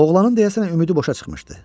Oğlanın deyəsən ümidi boşa çıxmışdı.